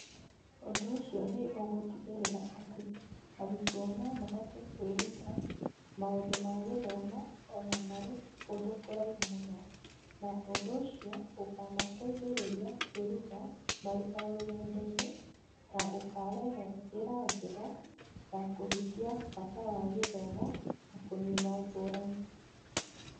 Ũndũ ũcio nĩ ũgũtigĩrĩra atĩ arutwo no mahote kwĩruta maũndũ ma gĩthomo o na marĩ kũndũ kũraihu mũno, na ũndũ ũcio ũkamateithĩrĩria kwĩruta marĩ o rũgendo-inĩ na ũkarehe njĩra njega ya kũhingia bata wa gĩthomo na kũnina ngũrani.